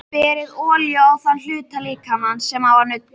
Berið olíu á þann hluta líkamans sem á að nudda.